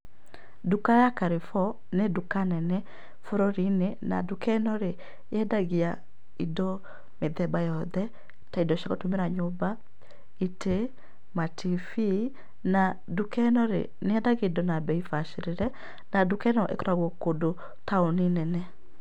Nduka ya Carrefour nĩ nduka nene bũrũri-inĩ na nduka ĩno rĩ yendagia indo mĩthemba yothe, ta indo cia gũtũmĩra nyũmba, itĩ, matibii na nduka ĩno rĩ, nĩyendagia indo na bĩi bacĩrĩre na nduka ĩno ĩkoragwo kũndũ taũni nene.